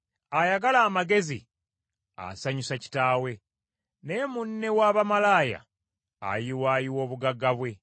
Ayagala amagezi asanyusa kitaawe, naye munne w’abamalaaya ayiwaayiwa obugagga bwe.